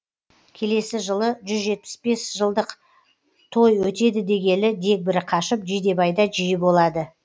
келесі жылы жүз жетпіс бес жылдық той өтеді дегелі дегбірі қашып жидебайда жиі болады